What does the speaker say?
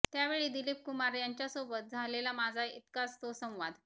त्यावेळी दिलीप कुमार यांच्यासोबत झालेला माझा इतकाच तो संवाद